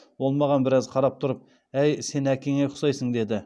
ол маған біраз қарап тұрып әй сен әкеңе ұқсайсың деді